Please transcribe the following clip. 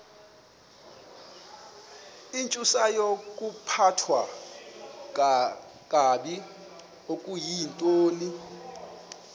intsusayokuphathwa kakabi okuyintoni